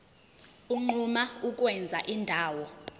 unquma ukwenza indawo